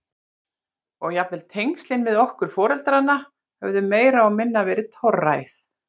Og jafnvel tengslin við okkur foreldrana höfðu meira og minna verið torræð.